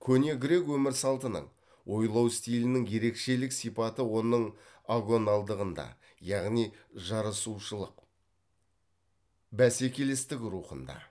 көне грек өмір салтының ойлау стилінің ерекшелік сипаты оның агоналдығында яғни жарысушылық бәсекелестік рухында